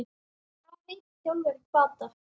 Hvað heitir þjálfari Hvatar?